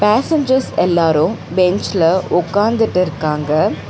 Passengers எல்லாரும் பெஞ்ச்ல ஒக்காந்துட்டு இருக்காங்க.